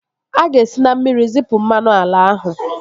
A ga-esi na mmiri zipu mmanụ ala ahụ